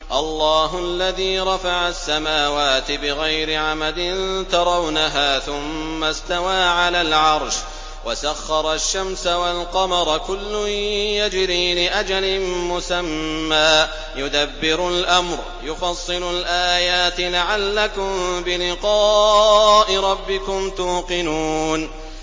اللَّهُ الَّذِي رَفَعَ السَّمَاوَاتِ بِغَيْرِ عَمَدٍ تَرَوْنَهَا ۖ ثُمَّ اسْتَوَىٰ عَلَى الْعَرْشِ ۖ وَسَخَّرَ الشَّمْسَ وَالْقَمَرَ ۖ كُلٌّ يَجْرِي لِأَجَلٍ مُّسَمًّى ۚ يُدَبِّرُ الْأَمْرَ يُفَصِّلُ الْآيَاتِ لَعَلَّكُم بِلِقَاءِ رَبِّكُمْ تُوقِنُونَ